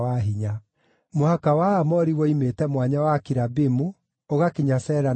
Mũhaka wa Aamori woimĩte Ituĩkanĩrio rĩa Akirabimu, ũgakinya Sela na ũkahĩtũka.